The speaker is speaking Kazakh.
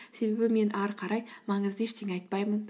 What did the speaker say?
себебі мен ары қарай маңызды ештеңе айтпаймын